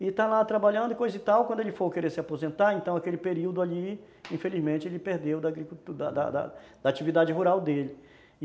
E está lá trabalhando e coisa e tal, quando ele for querer se aposentar, então aquele período ali, infelizmente, ele perdeu da da atividade rural dele.